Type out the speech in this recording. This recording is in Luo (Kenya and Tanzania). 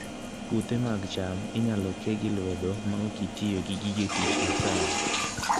Puothe mag cham inyalo ke gi lwedo maok itiyo gi gige tich masani